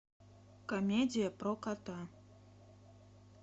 комедия про кота